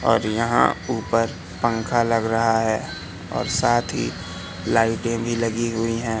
और यहां ऊपर पंखा लग रहा है और साथ ही लाइटें भी लगी हुई है।